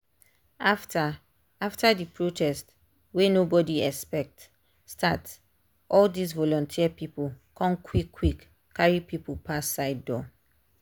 after after the protest wey nobody expect start all this volunteer people con quick quick carry people pass side door.